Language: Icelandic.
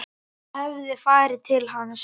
Ég hef farið til hans.